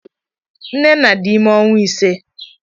Nnenna dị ime ọnwa ise.